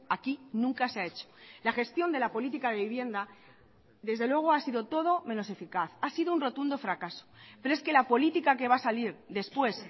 aquí nunca se ha hecho la gestión de la política de vivienda desde luego ha sido todo menos eficaz ha sido un rotundo fracaso pero es que la política que va a salir después